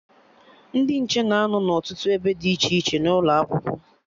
Ndị nche na-anọ n'ọtụtụ ebe dị iche iche n'ụlọ Akwụkwọ